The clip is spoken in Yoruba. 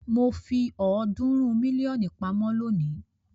Mo fi ọ̀ọ́dúnrún mílíọ̀nù pamọ́ lónìí.